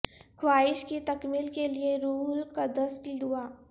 خواہش کی تکمیل کے لئے روح القدس کی دعا